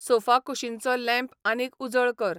सोफाकुशीनचो lamp आनीक उजळ कर